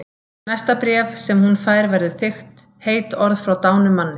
Næsta bréf sem hún fær verður þykkt, heit orð frá dánum manni.